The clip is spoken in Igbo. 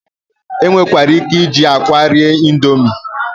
E nwekwara ike iji akwa eri indomi.